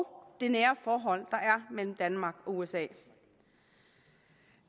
det nære forhold der er mellem danmark og usa